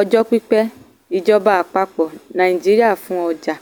ọjọ́ pípẹ́ um ìjọba àpapọ̀ nàìjíríà fún ọjà. fún ọjà.